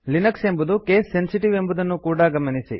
Linux ಎಂಬುದು case sensitive ಎಂಬುದನ್ನು ಕೂಡಾ ಗಮನಿಸಿ